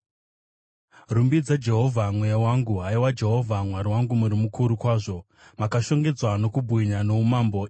Rumbidza Jehovha, mweya wangu. Haiwa Jehovha Mwari wangu, muri mukuru kwazvo; makashongedzwa nokubwinya noumambo.